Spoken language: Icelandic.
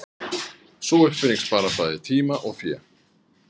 Sú uppfinning sparaði bæði tíma og fé.